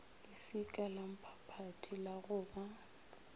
leswika lamphaphathi la go ba